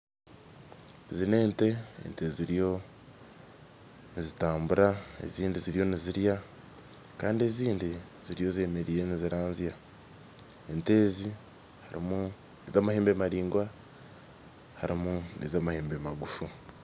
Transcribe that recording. Ezi n'ente ente ziriyo nizitambura ezindi ziriyo nizirya kandi ezindi ziriyo zemereire niziranzya ente ezi harimu ez'amahembe maraingwa harimu n'ez'amahembe magufu